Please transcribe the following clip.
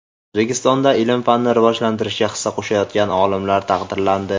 O‘zbekistonda ilm-fanni rivojlantirishga hissa qo‘shayotgan olimlar taqdirlandi.